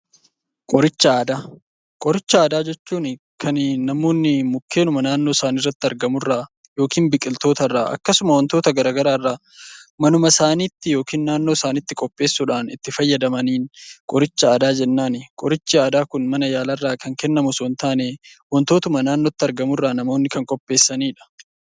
Qoricha aadaa Qoricha aadaa jechuun kan namoonni mukkeen naannootti argamu irraa biqiltoota irraa akkasuma wantota garaagaraa irraa manuma isaaniitti, naannoodhuma isaaniitti itti fayyadamaniin qoricha fayyadamanidha. Kan kennamu osoo hin taane waantota naannootti argamu irraa kan namoonni qopheessanidha.